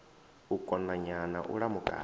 u konanya na u lamukanya